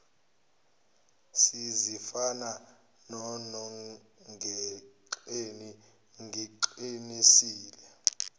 sezifana nonongekleni ngiqinisile